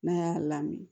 N'a y'a lamini